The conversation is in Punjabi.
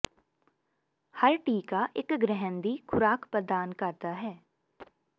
ਹਰ ਟੀਕਾ ਇੱਕ ਗ੍ਰਹਿਣ ਦੀ ਖੁਰਾਕ ਪ੍ਰਦਾਨ ਕਰਦਾ ਹੈ